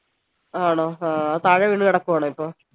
ആണോ ആഹ് താഴെ വീണ് കിടക്കുവാണോ ഇപ്പോ